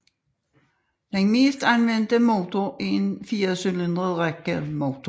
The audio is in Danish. Den mest anvendte motor er en firecylindret rækkemotor